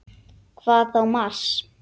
Hvað þá Mars!